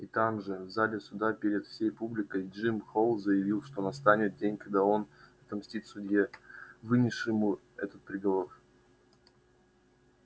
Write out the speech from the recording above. и там же в зале суда перед всей публикой джим холл заявил что настанет день когда он отомстит судье вынесшему этот приговор